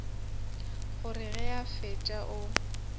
gore ge a fetša o